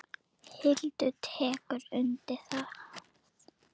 Hildur tekur undir það.